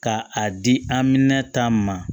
Ka a di aminan ta ma